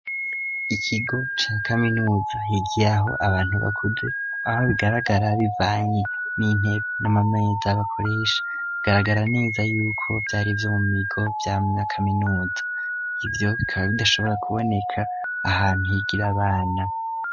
Ikigo ca kaminuza higiye aho abantu bakude aho bigaragara bivanye n'intebe n'amameza bakoresha bigaragara neza yuko vyari vyo mu migo vyamya kaminuza ivyo bikaba bidashobora kuboneka ahantu higira abana.